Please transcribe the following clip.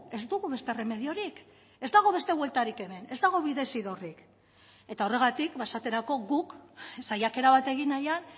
ez dugu beste erremediorik ez dago beste bueltarik hemen ez dago bidezidorrik eta horregatik esaterako guk saiakera bat egin nahian